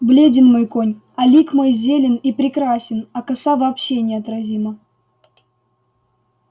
бледен мой конь а лик мой зелен и прекрасен а коса вообще неотразима